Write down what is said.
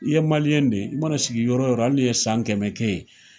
I ye de ye, i mana sigi yɔrɔ o yɔrɔ, hali n'i ye san kɛmɛ kɛ yen